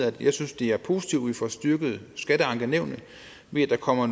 at jeg synes det er positivt at vi får styrket skatteankenævnene ved at der kommer